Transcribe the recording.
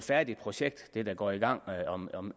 færdigt projekt der går i gang om om